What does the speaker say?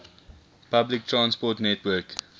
public transport network